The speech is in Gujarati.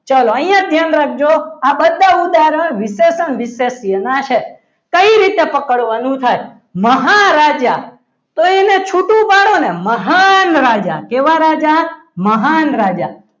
ચાલો અહીંયા ધ્યાન રાખજો આ બધા ઉદાહરણ વિશેષણ વિશેષણ છે કઈ રીતે પકડવાનું થાય મહારાજા તો એને છૂટું પાડો ને મહાન રાજા કેવલ રાજા મહાન રાજા